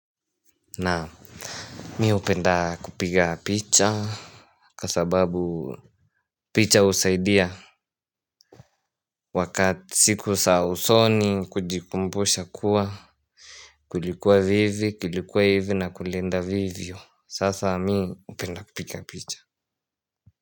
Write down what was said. Nam mi hupenda kupiga picha. Kwa sababu picha husaidia. Wakati siku sa usoni kujikumbusha kuwa kulikuwa hivi kilikuwa hivi na kulienda vivyo sasa mi hupenda kupiga picha.